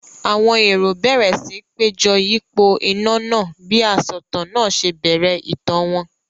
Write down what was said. Àwọn èrò bẹ̀rẹ̀ síi péjọ yípo iná náà bí asọ̀tàn náà ṣe bẹ̀rẹ̀ ìtàn wọn.